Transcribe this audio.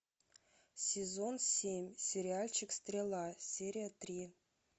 сезон семь сериальчик стрела серия три